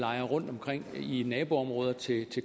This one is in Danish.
rundtomkring i naboområder til